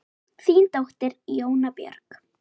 Þín dóttir, Jóna Björg.